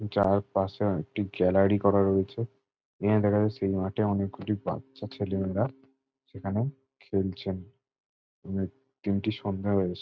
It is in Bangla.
যার পাশে একটি গ্যালারি করা রয়েছে। এখানে দেখা যাচ্ছে সেই মাঠে অনেক গুলো বাচ্চা ছেলে মেয়েরা সেখানে খেলছেন। উ দিনটি সন্ধ্যা হয়ে এস --